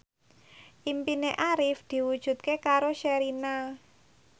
impine Arif diwujudke karo Sherina